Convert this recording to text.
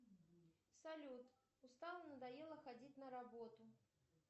салют устала надоело ходить на работу